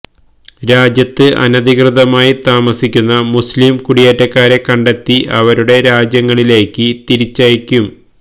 രാജ്യത്ത് അനധികൃതമായി താമസിക്കുന്ന മുസ്ലീം കുടിയേറ്റക്കാരെ കണ്ടെത്തി അവരുടെ രാജ്യങ്ങളിലേക്ക് തിരിച്ചയക്കും